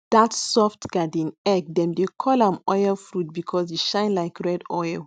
that soft garden egg dem dey call am oil fruit because e shine like red oil